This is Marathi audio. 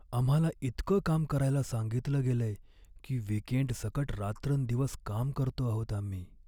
आम्हाला इतकं काम करायला सांगितलं गेलंय की वीकेंडसकट रात्रंदिवस काम करतो आहोत आम्ही.